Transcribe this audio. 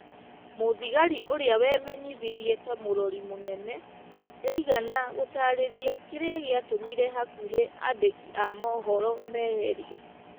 Mũthigari ũrĩa wemenyithirie ta mũrori mũnene, ndaigana gũtaarĩria kĩrĩa gĩatũmire hakũhĩ andĩki a mohoro meherio.